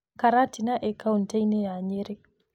Karatina ĩĩ kauntĩ ya Nyeri.